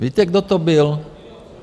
Víte, kdo to byl?